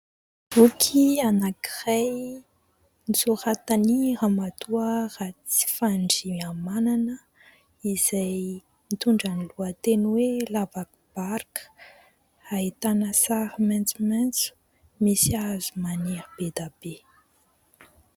Boky anankiray nosoratan'ny ramatoa Ratsifandrihamanana izay mitondra ny lohateny hoe <<Lavakombarika>>, ahitana sary maitsomaitso, misy hazo maniry be dia be.